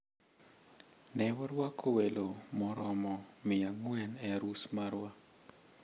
Ne waruako welo maromo mia ang`wen e arus marwa.